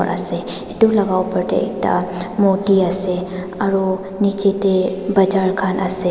ase etu laga upar te ekta moti ase aru niche te bazaar khan ase.